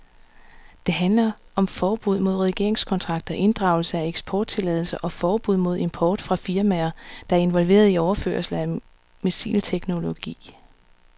Det handler om forbud mod regeringskontakter, inddragelse af eksporttilladelser og forbud mod import fra firmaer, der er involveret i overførelser af missilteknologi.